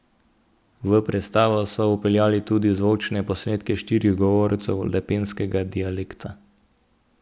V predstavo so vpeljali tudi zvočne posnetke štirih govorcev lepenskega dialekta.